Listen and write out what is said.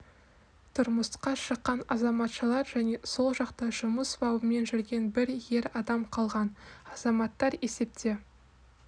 тұрмысқа шыққан азаматшалар және сол жақта жұмыс бабымен жүрген бір ер адам қалған азаматтар есепте